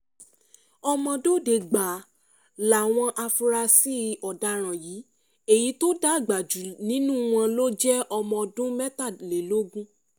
ọmọdọ́dẹ gbáà làwọn afurasí ọ̀daràn yìí èyí tó dàgbà jù nínú wọn ló jẹ́ ọmọọ̀dún mẹ́tàlélógún